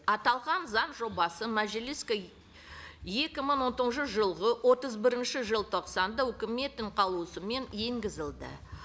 аталған заң жобасы мәжіліске екі мың он тоғызыншы жылғы отыз бірінші желтоқсанда өкіметтің қаулысымен енгізілді